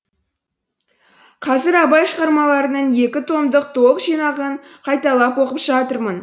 қазір абай шығармаларының екі томдық толық жинағын қайталап оқып жатырмын